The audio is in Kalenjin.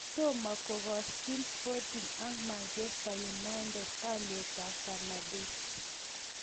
Tomo kogoshin Sporting ak Manchester United olietab Fernandes.